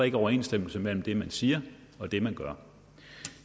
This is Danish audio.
ikke overensstemmelse mellem det man siger og det man gør